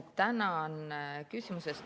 Tänan küsimuse eest.